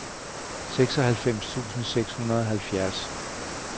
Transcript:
seksoghalvfems tusind seks hundrede og halvfjerds